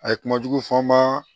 A ye kuma jugu fɔ n ma